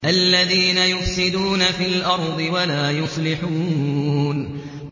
الَّذِينَ يُفْسِدُونَ فِي الْأَرْضِ وَلَا يُصْلِحُونَ